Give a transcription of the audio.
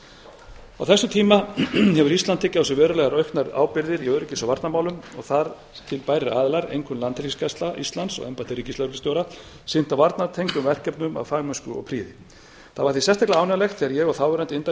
á þessum tíma hefur ísland tekið á sig verulega auknar ábyrgðir í öryggis og varnarmálum og þar til bærir aðilar einkum landhelgisgæsla íslands og embætti ríkislögreglustjóra sinntu varnartengdum verkefnum af fagmennsku og prýði þá var sérstaklega ánægjulegt þegar ég og þáverandi